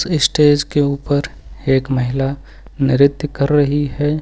Stage के ऊपर एक महिला नृत्य कर रही है।